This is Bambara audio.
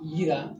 Yira